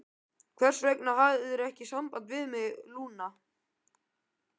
Hvers vegna hafðirðu ekki samband við mig, Lúna?